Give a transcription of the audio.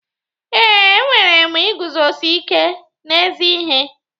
Ee, enwere m iguzosi ike n'ezi ihe.